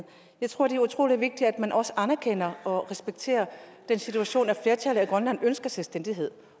jeg tror det er utrolig vigtigt at man også anerkender og respekterer den situation at flertallet i grønland ønsker selvstændighed